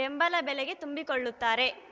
ಬೆಂಬಲ ಬೆಲೆಗೆ ತುಂಬಿಕೊಳ್ಳುತ್ತಾರೆ